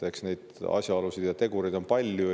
Eks neid asjaolusid ja tegureid ole palju.